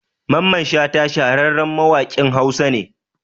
Mamman Shata shahararren mawaƙin Hausa ne